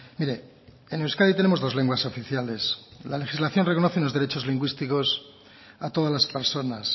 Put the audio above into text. mire en euskadi tenemos dos lenguas oficiales la legislación reconoce unos derechos lingüísticos a todas las personas